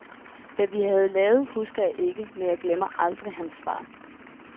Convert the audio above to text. Hvad vi havde lavet husker jeg ikke, men jeg glemmer aldrig hans svar.